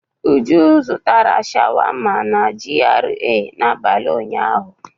Uju zụtara sháwámá na GRA n'abalị ụnyahụ.